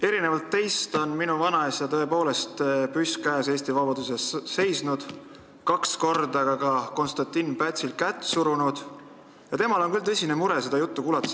Erinevalt teist on minu vanaisa tõepoolest, püss käes, Eesti vabaduse eest seisnud, kaks korda ka Konstantin Pätsil kätt surunud ja temale teeb selle teie jutu kuulmine küll tõsist muret.